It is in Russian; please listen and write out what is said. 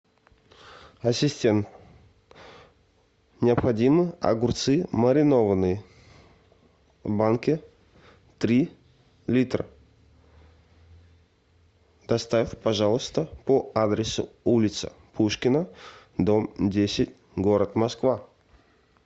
ассистент необходимо огурцы маринованные в банке три литра доставь пожалуйста по адресу улица пушкина дом десять город москва